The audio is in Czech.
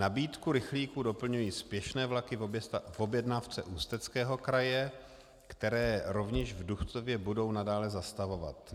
Nabídku rychlíků doplňují spěšné vlaky v objednávce Ústeckého kraje, které rovněž v Duchcově budou nadále zastavovat.